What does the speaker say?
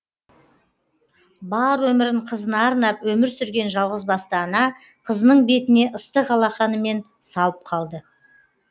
бар өмірін қызына арнап өмір сүрген жалғыз басты ана қызының бетіне ыстық алақанымен салып қалды